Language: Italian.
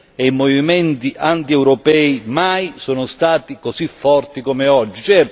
e i movimenti antieuropei mai sono stati così forte come oggi.